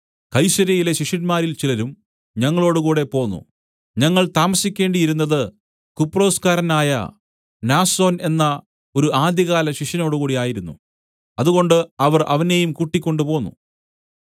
കൈസര്യയിലെ ശിഷ്യന്മാരിൽ ചിലരും ഞങ്ങളോടുകൂടെ പോന്നു ഞങ്ങൾ താമസിക്കേണ്ടിയിരുന്നത് കുപ്രൊസ്കാരനായ മ്നാസോൻ എന്ന ഒരു ആദ്യകാല ശിഷ്യനോടുകൂടെയായിരുന്നു അതുകൊണ്ട് അവർ അവനെയും കൂടെക്കൊണ്ടു പോന്നു